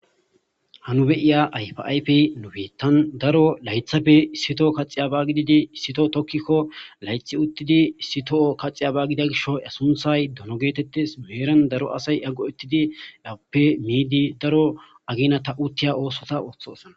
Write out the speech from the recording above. hanu beyiya aypayf nubi tan daro laythappe issito kaxi aba gididi issito tokkikko laythi uttidi issito kaxi aba gida gisho asunthay dono geetettes meeran daro asay yaggo uttidi lappe miidi daro agina ta uttiya oosota ooththosana